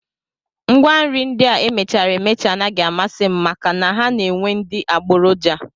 Ngwanri ndị a e mechara emecha anaghị amasị m maka na ha na-enwe ndị adigboroja